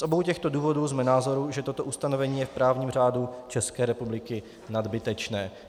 Z obou těchto důvodů jsme názoru, že toto ustanovení je v právním řádu České republiky nadbytečné.